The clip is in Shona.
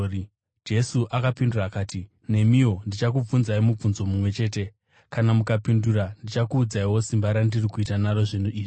Jesu akapindura akati, “Nemiwo ndichakubvunzai mubvunzo mumwe chete. Kana mukandipindura ndichakuudzaiwo simba randiri kuita naro zvinhu izvi.